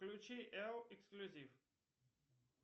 включи эл эксклюзив